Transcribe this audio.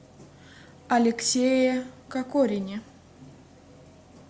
алексее кокорине